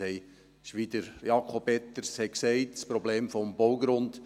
Es ist, wie Jakob Etter gesagt hat, ein Problem des Baugrunds.